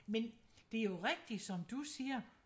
Men det jo rigtig som du siger